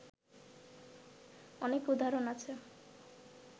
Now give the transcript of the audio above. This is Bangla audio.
অনেক উদাহরণ আছে